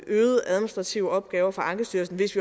administrative opgaver for ankestyrelsen hvis